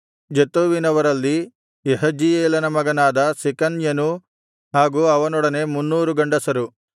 ಜತ್ತೂವಿನವರಲ್ಲಿ ಯಹಜೀಯೇಲನ ಮಗನಾದ ಶೆಕನ್ಯನೂ ಹಾಗೂ ಅವನೊಡನೆ 300 ಗಂಡಸರು